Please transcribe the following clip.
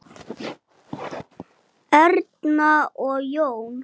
Hvers vegna klæjar mann?